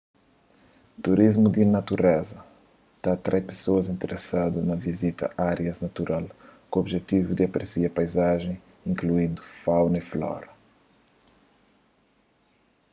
turismu di natureza ta atrai pesoas interesadu na vizita árias natural ku objetivu di apresia paizajen inkluindu fauna y flora